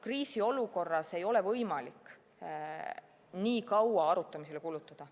Kriisiolukorras ei ole võimalik nii kaua arutamisele kulutada.